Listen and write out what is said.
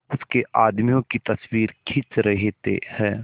उसके आदमियों की तस्वीरें खींच रहे हैं